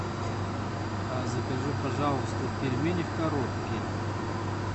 закажи пожалуйста пельмени в коробке